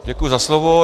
Děkuji za slovo.